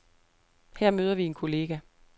Her møder vi en kollega.